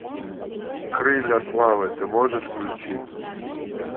крылья славы ты можешь включить